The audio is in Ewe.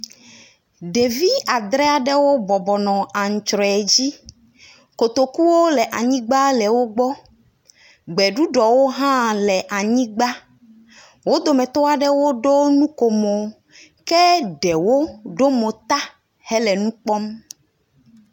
Evi adre aɖewo bɔbɔnɔ antsrɔe dzi, kotokuwo le anyigba le wogbɔ, gbeɖuɖɔo hã nɔ wogbɔ. Wo dometɔ aɖewo ɖo nukomo ke ɖewo ɖo mo ta hele nu kpɔm.